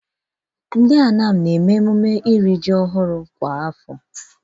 Ndị Anam na-eri ji ọhụrụ kwa afọ.